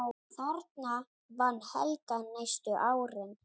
Þarna vann Helga næstu árin.